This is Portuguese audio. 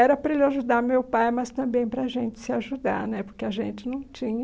Era para ele ajudar meu pai, mas também para a gente se ajudar né, porque a gente não tinha...